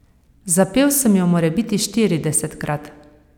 Zapel sem jo morebiti štiridesetkrat.